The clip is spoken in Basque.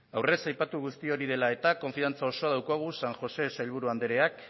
aurrez aipaturiko guzti hori dela eta konfiantza osoa daukagu san jose sailburu andreak